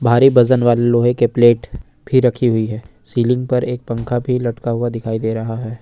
भारी वजन वाले लोहे के प्लेट भी रखी हुई है सीलिंग पर एक पंखा भी लटका हुआ दिखाई दे रहा है।